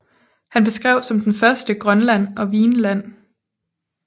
Han beskrev som den første Grønland og Vinland